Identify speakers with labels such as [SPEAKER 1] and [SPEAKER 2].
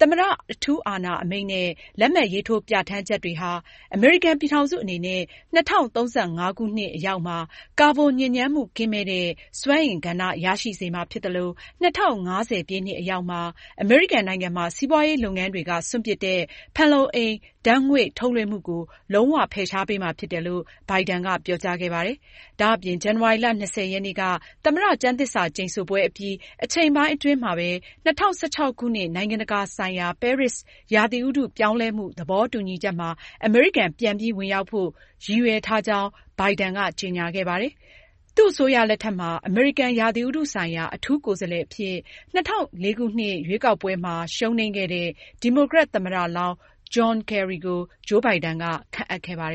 [SPEAKER 1] သမ္မတ အထူးအာဏာအမိန့်နဲ့ လက်မှတ်ရေးထိုးပြဌာန်းချက်တွေဟာ အမေရိကန်ပြည်ထောင်စုအနေနဲ့ ၂၀၃၅ ခုနှစ်အရောက်မှာ ကာဗွန်ညစ်ညမ်းမှုကင်းမဲ့တဲ့ စွမ်းအင်ကဏ္ဍ ရရှိစေမှာဖြစ်သလို၊ ၂၀၅၀ ပြည့်နှစ်အရောက်မှာတော့ အမေရိကန်နိုင်ငံမှာ စီးပွားရေးလုပ်ငန်းတွေက စွန့်ပစ်တဲ့ ဖန်လုံအိမ် ဓါတ်ငွေ့GHG ထုတ်လွှင့်မှုကို လုံးဝဖယ်ရှားပေးမှာဖြစ်တယ်လို့လည်း ဘိုင်ဒန်က ပြောကြားခဲ့ပါတယ်။ ဒါ့အပြင် ဇန်နဝါရီလ ၂၀ ရက်နေ့က သမ္မတ ကျမ်းသစ္စာကျိန်ဆိုပွဲအပြီး အချိန်ပိုင်းအတွင်းမှာပဲ ၂၀၁၆ ခုနှစ် နိုင်ငံတကာဆိုင်ရာ ပဲရစ် ရာသီဥတုပြောင်းလဲမှု သဘောတူညီချက်မှာ အမေရိကန် ပြန်ပြီး ဝင်ရောက်ဖို့ သူရည်ရွယ်ထားကြောင်းလည်း ဘိုင်ဒန်က ကြေညာခဲ့တာပါ။ သူ့အစိုးရလက်ထက်မှာ အမေရိကန် ရာသီဥတုဆိုင်ရာ အထူးကိုယ်စားလှယ်အဖြစ် ၂၀၀၄ ရွေးကောက်ပွဲမှာ ရှုံးနိမ်းခဲ့တဲ့ ဒီမိုကရက် သမ္မတလောင်း ဂျွန်ကယ်ရီကို ဂျိုးဘိုင်ဒန်က ခန့်အပ်ခဲ့ပါတယ